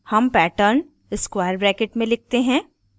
हम pattern square brackets में लिखते हैं